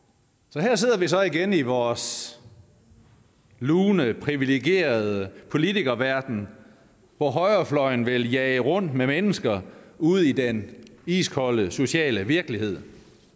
her sidder vi så igen i vores lune privilegerede politikerverden hvor højrefløjen vil jage rundt med mennesker ude i den iskolde sociale virkelighed